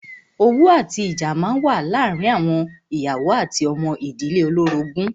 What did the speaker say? Owú àti ìjà máa ń wà láàárín àwọn ìyàwó àti ọmọ ìdílé olórogún.